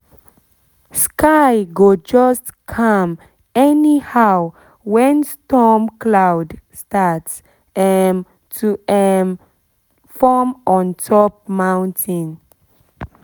sky go just calm anyhow when storm cloud start um to um form on top mountain